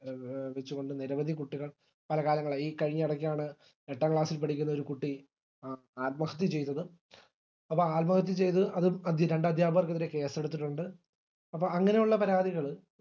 ചു കൊണ്ട് നിരവധി കുട്ടികൾ പല കാലങ്ങളായി ഈ കഴിഞ്ഞ ഇടക്കാണ് എട്ടാം class ഇൽ പഠിക്കുന്ന ഒരു കുട്ടി ആത്മഹത്യ ചെയ്തത് അത് ആത്മഹത്യ ചെയ്തത് രണ്ടധ്യാപകർക്കെതിരെ case എടുത്തിട്ടുണ്ട് അപ്പൊ അങ്ങനെയുള്ള പരാതികള്